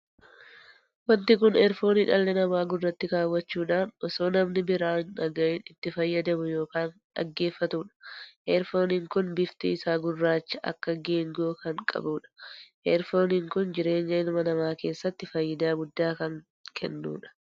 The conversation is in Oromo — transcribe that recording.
Wanti kun erfoonii dhalli namaa gurraatti kaawwachuudhaan osoo namni biraa hin dhaga'iin itti fayyadamu ykn dhaggeeffatudha. erfooniin kun bifti isaa gurraacha akka neengoo kan qabuudha. erfooniin kun jireenya ilma namaa keessatti faayidaa guddaa kan jennuudha.